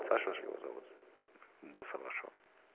саша же его зовут босса вашего